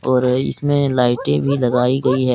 और इसमें लाइटे भी लगाई गई है।